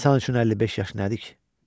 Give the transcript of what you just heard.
İnsan üçün 55 yaş nədir ki?